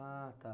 Ah, tá.